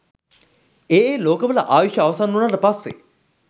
ඒ ඒ ලෝකවල ආයුෂ අවසන් වුණාට පස්සේ